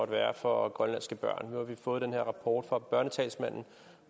være for grønlandske børn nu har vi fået den her rapport fra børnetalsmanden